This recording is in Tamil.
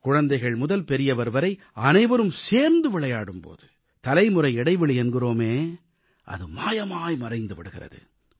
குழந்தைகள் முதல் பெரியவர் வரை அனைவரும் சேர்ந்து விளையாடும் போது தலைமுறை இடைவெளி என்கிறோமே அது மாயமாய் மறைந்து விடுகிறது